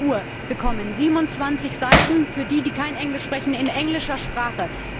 20.00 Uhr bekommen 27 Seiten, für die, die kein Englisch sprechen, in englischer Sprache.